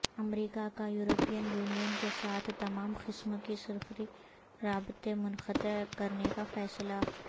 امریکا کا European Union کے ساتھ تمام قسم کے سفری رابطے منقطع کرنے کا فیصلہ